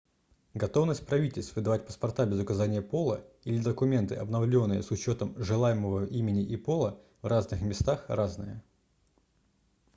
готовность правительств выдавать паспорта без указания пола x или документы обновленные с учетом желаемого имени и пола в разных местах разная